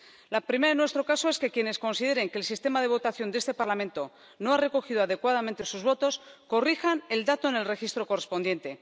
La primera, en nuestro caso, es que quienes consideren que el sistema de votación de este Parlamento no ha recogido adecuadamente sus votos corrijan el dato en el registro correspondiente.